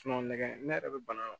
nɛgɛ yɛrɛ bɛ bana